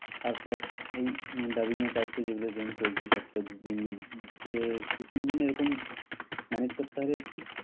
আর plus এই dubbing এর কাজতো যেগুলা যেরকম চলছে সপ্তাহে দুই তিন দিন এ~ দুই তিন দিন এরকম manage করতে হবে একটু